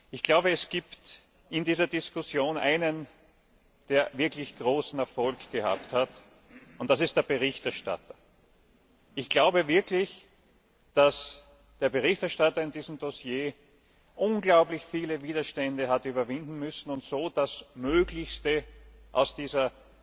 Ich glaube, es gibt in dieser Diskussion einen, der wirklich großen Erfolg gehabt hat, und das ist der Berichterstatter. Ich glaube wirklich, dass der Berichterstatter in diesem Dossier unglaublich viele Widerstände hat überwinden müssen und so das Möglichste aus dieser